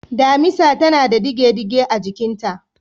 Damisa tana da ɗige-ɗige a jikinta.